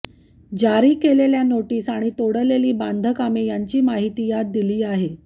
जारी केलेल्या नोटिस आणि तोडलेली बांधकामे यांची माहिती यात दिली आहे